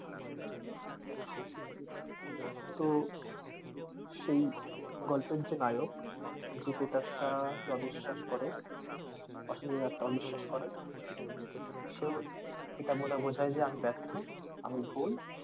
তো সেই গল্পের যে নায়ক যে প্রেতাত্মা আহ কে অবিশ্বাস করে অশুভ আত্মা অবিশ্বাস করে সেও এটা বলে বোঝাই যে আমি ব্যর্থ আমি ভুল,